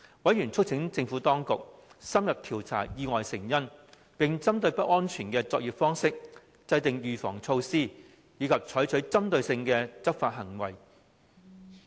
委員促請政府當局深入調查意外的成因，並針對不安全的作業方式，制訂預防措施及採取針對性的執法行動。